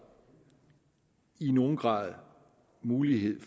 i nogen grad mulighed